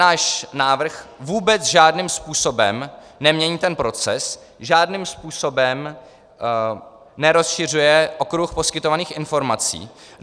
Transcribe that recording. Náš návrh vůbec žádným způsobem nemění ten proces, žádným způsobem nerozšiřuje okruh poskytovaných informací.